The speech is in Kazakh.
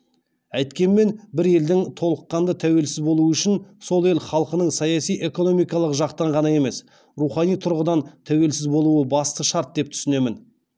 әйткенмен бір елдің толыққанды тәуелсіз болуы үшін сол ел халқының саяси экономикалық жақтан ғана емес рухани тұрғыдан тәуелсіз болуы басты шарт деп түсінемін